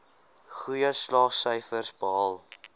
goeie slaagsyfers behaal